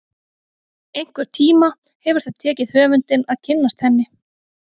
Einhvern tíma hefur það tekið höfundinn að kynnast henni.